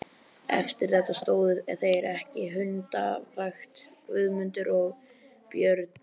Eftir þetta stóðu þeir ekki hundavakt, Guðmundur og Björn.